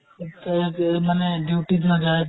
তে তে মানে duty ত নাযায়